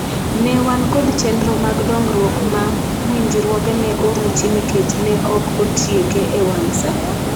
ne wan kod chenro mag dongruok ma winjruoge ne oruchi nikech ne ok otieke e wang' saa